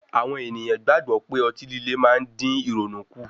Àwọn ènìyàn gbàgbọ́ pé otí líle má ń dín ìrònú kù.